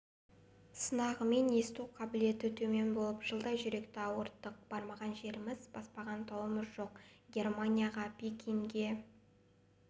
сынағымен есту қабілеті төмен болып жылдай жүректі ауырттық бармаған жеріміз баспаған тауымыз жоқ германияға пекинге